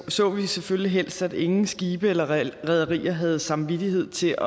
så vi selvfølgelig helst at ingen skibe eller rederier havde samvittighed til